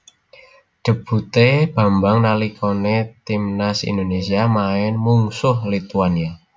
Debutè Bambang nalikanè timnas Indonésia maèn mungsuh Lituania